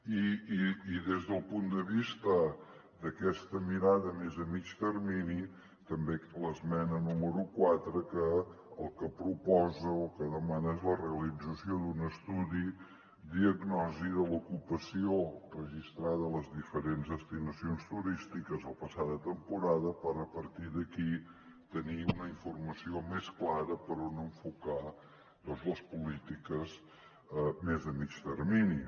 i des del punt de vista d’aquesta mirada més a mitjà termini l’esmena número quatre el que proposa o el que demana és la realització d’un estudi diagnosi de l’ocupació registrada a les diferents destinacions turístiques la passada temporada per a partir d’aquí tenir una informació més clara per on enfocar doncs les polítiques més de mitjà termini